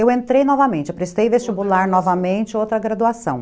Eu entrei novamente, eu prestei vestibular novamente, outra graduação.